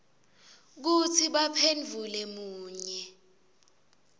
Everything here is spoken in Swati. kutsi baphendvule munye